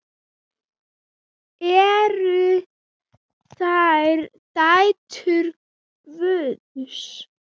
Eru þær dætur Guðs?